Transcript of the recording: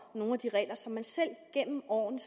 nogle af de regler som man selv gennem årene